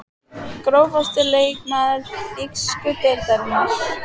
Grófasti leikmaður þýsku deildarinnar?